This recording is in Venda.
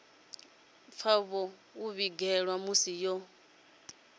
pfa vho ḓigeḓa musi vho